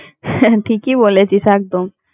হ্যাঁ হ্যাঁ ঠিকই বলেছিস একদম।